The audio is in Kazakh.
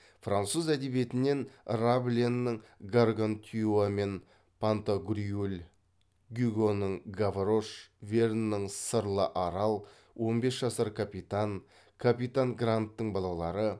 француз әдебиетінен рабленің гаргантюа мен пантагрюэль гюгоның гаврош верннің сырлы арал он бес жасар капитан капитан гранттың балалары